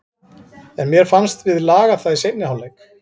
En mér fannst við laga það í seinni hálfleik.